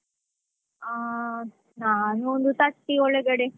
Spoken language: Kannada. ಆ ನಾನು ಒಂದು thirty ಒಳಗಡೆ.